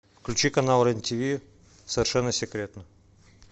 включи канал рен тв совершенно секретно